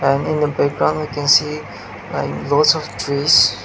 and in the background we can see a lots of trees.